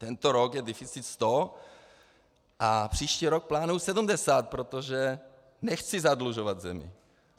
Tento rok je deficit 100 a příští rok plánuji 70, protože nechci zadlužovat zemi.